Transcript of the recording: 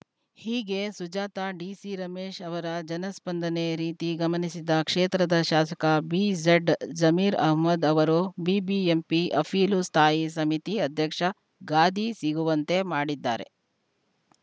ಹೀಗೆ ಸುಜಾತಾ ಡಿಸಿರಮೇಶ್‌ ಅವರ ಜನ ಸ್ಪಂದನೆ ರೀತಿ ಗಮನಿಸಿದ ಕ್ಷೇತ್ರದ ಶಾಸಕ ಬಿಝಡ್‌ ಜಮೀರ್‌ ಅಹಮ್ಮದ್‌ ಅವರು ಬಿಬಿಎಂಪಿ ಅಪೀಲು ಸ್ಥಾಯಿ ಸಮಿತಿ ಅಧ್ಯಕ್ಷ ಗಾದಿ ಸಿಗುವಂತೆ ಮಾಡಿದ್ದಾರೆ